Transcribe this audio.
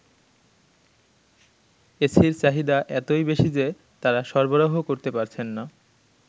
এসির চাহিদা এতই বেশি যে তারা সরবরাহ করতে পারছেন না।